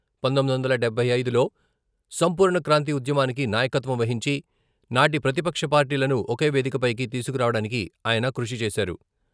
పంతొమ్మిది వందల డెభై ఐదులో సంపూర్ణ క్రాంతి ఉద్యమానికి నాయకత్వం వహించి, నాటి ప్రతిపక్ష పార్టీలను ఒకే వేదికపైకి తీసుకురావడానికి ఆయన కృషి చేశారు.